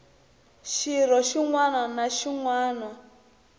xirho xin wana na xin